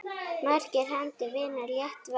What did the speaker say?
Margar hendur vinna létt verk!